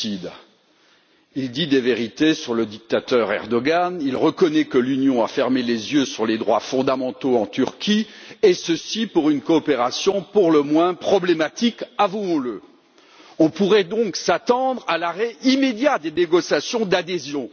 Madame la Présidente, voilà un rapport lucide. Il dit des vérités sur le dictateur Erdogan, il reconnaît que l'Union a fermé les yeux sur les droits fondamentaux en Turquie et ceci, pour une coopération pour le moins problématique, avouons le. On pourrait donc s'attendre à l'arrêt immédiat des négociations d'adhésion.